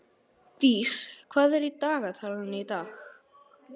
Dís, hvað er í dagatalinu í dag?